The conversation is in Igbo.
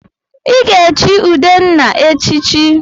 Ị ga-echi Udenna echichi!